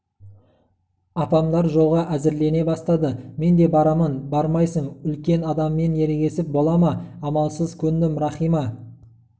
апамдар жолға әзірлене бастады мен де барамын бармайсың үлкен адаммен ерегісіп бола ма амалсыз көндім рахима